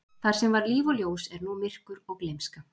Þar sem var líf og ljós er nú myrkur og gleymska.